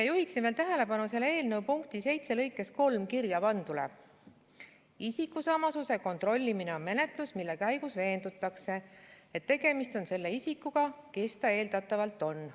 Juhin tähelepanu selle eelnõu § 1 punkti 7 lõikes 3 kirjapandule: "Isikusamasuse kontrollimine on menetlus, mille käigus veendutakse, et tegemist on selle isikuga, kes ta eeldatavalt on.